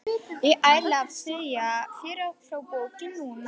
Ég ætla að segja þér frá bókinni núna.